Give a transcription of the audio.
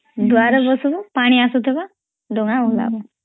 ଦୁଆରେ ବସିବୁ ପାଣି ଅସୁଥିବଡଂଗା ଭସେଈବୁ